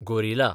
gorilla